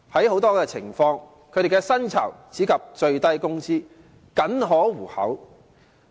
很多時候，他們的薪酬只達最低工資，僅可糊口。